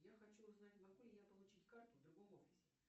я хочу узнать могу ли я получить карту в другом офисе